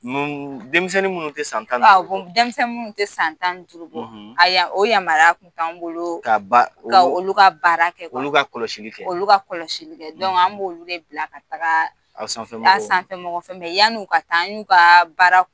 Denmisɛnnin minnu tɛ san tan ni duuru bɔ, denmisɛnnin minnu tɛ san tan duuru bɔ a ya, o yamaya t'an bolo, ka ba ka olu ka baara kɛ, k'olu ka kɔlɔsili kɛ, k'olu ka kɔlɔsili kɛ an b'olu de bila ka taga aw sanfɛ mɔgɔw, an sanfɛ mɔgɔ fɛ yan'u ka taa an y'u ka baara